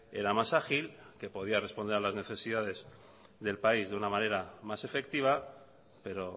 era más ágil que podía responder a las necesidades del país de una manera más efectiva pero